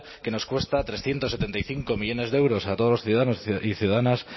que nos cuesta trescientos setenta y cinco millónes de euros a todos los ciudadanos y ciudadanas